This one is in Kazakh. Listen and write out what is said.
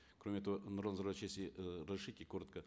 кроме того нурлан зайроллаевич если э разрешите коротко